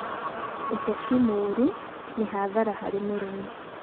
ũteti mũũru nĩ hathara harĩ mũrĩmi.